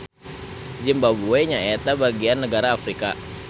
Zimbabwe nyaeta bagian nagara Afrika